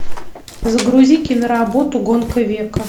загрузи киноработу гонка века